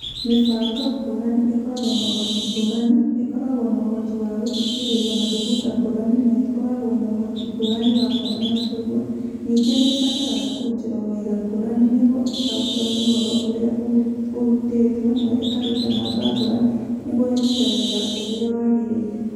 Mĩbango ngũrani ĩkoragwo na ũhoti ngũrani, ĩkoragwo na ũhoti wa gũthikĩrĩria mathugunda ngũrani na ĩkoragwo na ũhoti ngũrani wa kuona na kũigua ,ningĩ nĩ ĩbataraga kũrutĩrwo wĩra ngũrani nĩguo ĩtaũkĩrũo nĩ ũhoro ũrĩa ũrutĩtwo na ĩkaruta namba ngũrani nĩguo ĩrute wĩra ũrĩa wagĩrĩire.